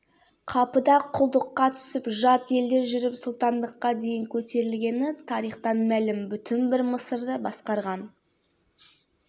бейбарыс бабамыз елін жерін сағынып патшалықты тастап атамекеніне оралған еді туған жерге деген іңкәрлік сезім